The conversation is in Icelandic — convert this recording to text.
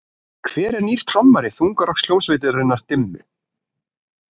Hver er nýr trommari þungarokkssveitarinnar Dimmu?